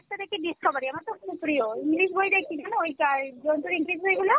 আরেকটা দেখি discovery আমার তো খুব প্রিয় English বই দেখি কেন ঐ টায় জন্তুর English বই গুলো